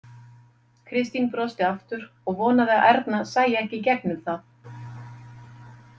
Kristín brosti aftur og vonaði að Erna sæi ekki í gegnum það.